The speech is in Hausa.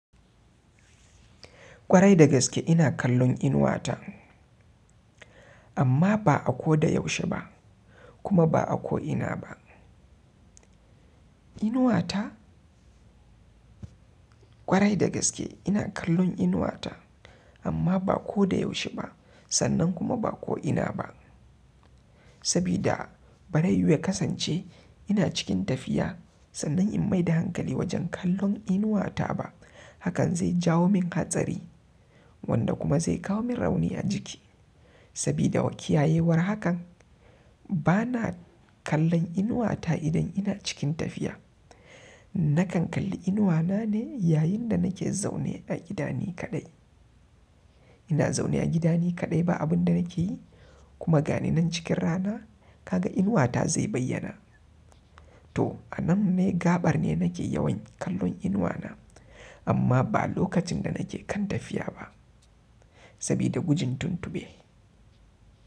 Kwarai da gaske ina kallon inuwata amma ba a ko da yaushe ba kuma ba a ko ina ba. Inuwata? Kwarai da gaske ina kallon inuwata amma ba ko da yaushe ba sannan kuma ba ko ina ba. Sabida bari yuwu ya kasance ina cikin tafiya sannan in maida hankali wajen kallon inuwata ba hakan zai jawo min hatsari wanda kuma zai kawo min rauni a jiki. Sabida kiyayewar hakan bana kallon inuwata idan ina cikin tafiya. Nakan kalli inuwana ne yayin da nake zaune a gida ni kaɗai. Ina zaune a gida ni kaɗai ba abun da nake yi kuma ga ni nan cikin rana kaga inuwata zai bayyana. To a nan ne gaɓar ne nake yawan kallon inuwana amma ba lokacin da nake kan tafiya ba sabida gujin tuntuɓe.